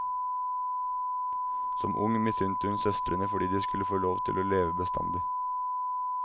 Som ung misunnte hun søstrene fordi de skulle få lov til å leve bestandig.